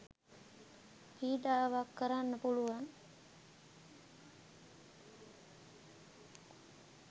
පීඩාවක් කරන්න පුළුවන්.